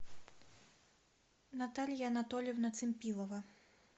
наталья анатольевна цимпилова